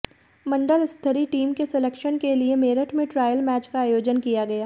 मंडल स्तरीय टीम के सिलेक्शन के लिए मेरठ में ट्रायल मैच का आयोजन किया गया